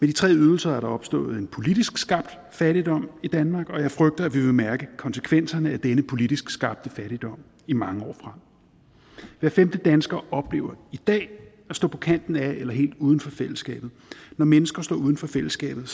de tre ydelser er der opstået en politisk skabt fattigdom i danmark og jeg frygter at vi vil mærke konsekvenserne af denne politisk skabte fattigdom i mange år frem hver femte dansker oplever i dag at stå på kanten af eller helt uden for fællesskabet når mennesker står uden for fællesskabet